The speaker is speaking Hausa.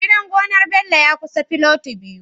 Gidan gonar Bello ya kusa filoti biyu